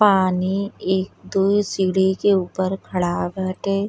पानी एक दु सीढ़ी के ऊपर खड़ा बाटे।